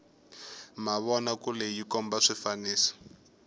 mavona kule yi komba swifaniso